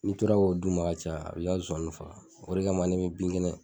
N'i tora k'o d'u ma ka caya a bi ka nsonsanni faga. O de kama ne bi bin kɛnɛ